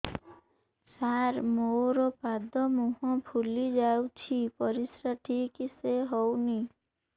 ସାର ମୋରୋ ପାଦ ମୁହଁ ଫୁଲିଯାଉଛି ପରିଶ୍ରା ଠିକ ସେ ହଉନି